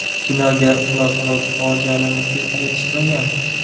Kinoga xulosalovchi fojiali musiqa yetishmagan.